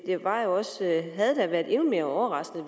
havde da været endnu mere overraskende